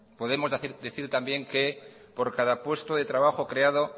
podemos decir también que por cada puesto de trabajo creado